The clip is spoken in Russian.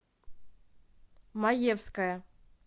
маевская